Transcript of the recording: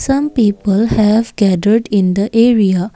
some people have gathered in the area.